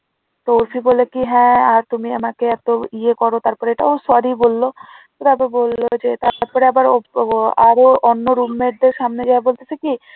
তুমি আমাকে এত ইয়ে করো তারপরও sorry বলল ওরা তো বলল তারপর যে তারপরে আবার ওরও আরো অন্য room mate দেড় সামনে যাই আহ বলতেছে কি